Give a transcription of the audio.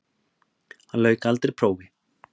Hann lauk aldrei prófi.